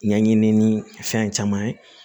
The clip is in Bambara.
Ɲɛɲini ni fɛn caman ye